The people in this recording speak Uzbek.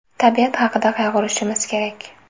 Tabiat haqida qayg‘urishimiz kerak!